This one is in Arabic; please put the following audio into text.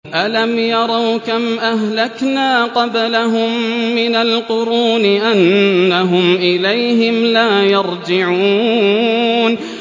أَلَمْ يَرَوْا كَمْ أَهْلَكْنَا قَبْلَهُم مِّنَ الْقُرُونِ أَنَّهُمْ إِلَيْهِمْ لَا يَرْجِعُونَ